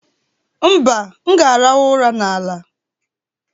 mba, m ga-arahụ ụra n'ala